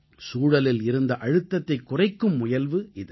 சூழலில் இருந்த அழுத்தத்தைக் குறைக்கும் முயல்வு இது